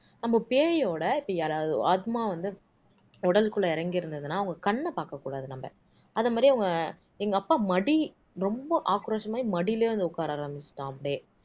அப்போ பேயோட இப்ப யாராவது ஆத்மா வந்து உடலுக்குள்ள இறங்கியிருந்துதுன்னா அவங்க கண்ண பாக்க கூடாது நம்ம அதே மாதிரி எங்க அப்பா மடி ரொம்ப ஆக்ரோஷமாகி மடியிலயே வந்து உக்கார ஆரமிச்சுட்டாம் அப்படியே